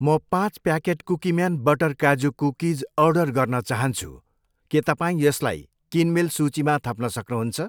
म पाँच packet Cookie Man butter काजु कुकिज अर्डर गर्न चाहन्छु, के तपाईँ यसलाई किनमेल सूचीमा थप्न सक्नुहुन्छ?